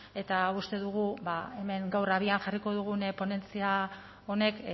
eta uste dugu hemen gaur abian jarriko dugun ponentzia honek